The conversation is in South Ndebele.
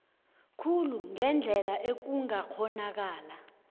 khulu ngendlela ekungakghonakala